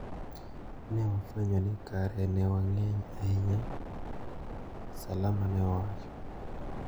Ne wafwenyo ni kare ne wang`eny ahinya, Salama ne owacho.